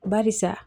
Barisa